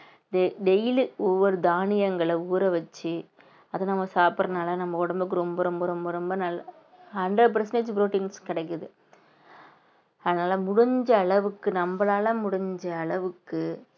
da~ daily ஒவ்வொரு தானியங்கள ஊற வச்சு அத நம்ம சாப்பிடறதுனால நம்ம உடம்புக்கு ரொம்ப ரொம்ப ரொம்ப ரொம்ப நல்ல~ hundred percentage ப்ரோடீன்ஸ் கிடைக்குது அதனால முடிஞ்ச அளவுக்கு நம்மளால முடிஞ்ச அளவுக்கு